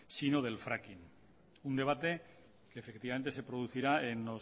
sino del fracking un debate que efectivamente se producirá en